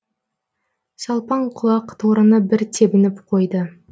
салпаң құлақ торыны бір тебініп қойды